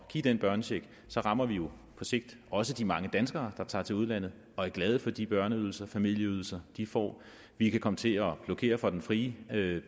give den børnecheck rammer vi jo på sigt også de mange danskere der tager til udlandet og er glade for de børneydelser familieydelser de får vi kan komme til at blokere for den fri